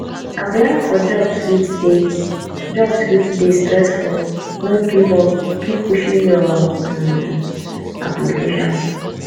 applying for jobs fit dey jobs fit dey stressful no give up keep pushing your um applications